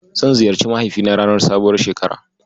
Zan ziyarci mahaifina ranar sabuwar shekara.